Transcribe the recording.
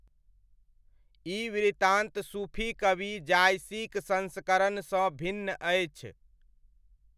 ई वृत्तान्त सूफी कवि जायसीक संस्करणसँ भिन्न अछि।